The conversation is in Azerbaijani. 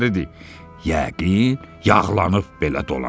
Yəqin yağlanıb belə dolanır.